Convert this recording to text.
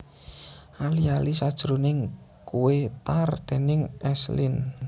Ali ali sajroning kuwé tart déning S Lin